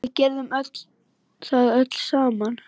Við gerðum það öll saman.